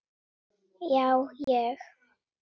Já, ég.